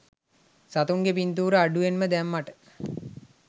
සතුන්ගේ පින්තූර අඩුවෙන් දැම්මට.